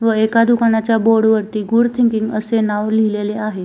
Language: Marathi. व एका दुकानाच्या बोर्ड वरती गुड थिंकिंग असे नाव लिहीलेले आहे.